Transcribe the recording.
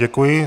Děkuji.